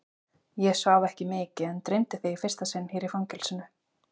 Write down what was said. Ég svaf ekki mikið en dreymdi þig í fyrsta sinn hér í fangelsinu.